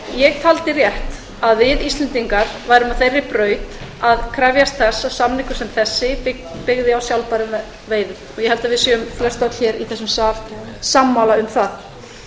ég taldi rétt að við íslendingar værum á þeirri braut að krefjast þess að samningur sem þessi byggðist á sjálfbærum veiðum og ég held að við séum flestöll hér í þessum sal sammála um það